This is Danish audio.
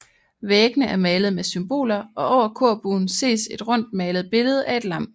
Væggene er malet med symboler og over korbuen ses et rundt malet billede af et lam